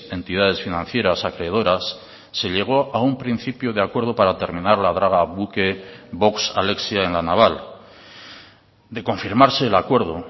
entidades financieras acreedoras se llegó a un principio de acuerdo para terminar la draga buque vox alexia en la naval de confirmarse el acuerdo